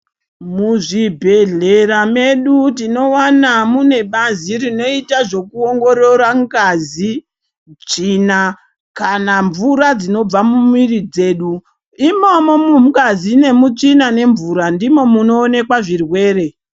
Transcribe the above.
Muzvibhedhlera medu tinowana munebazi rinoita zvekuwongorora ngazi, tsvina kana mvura dzinobva muviri dzedu. Imomo mungazi nemutsvina nemvura, ndimo munowoneka zvirwere.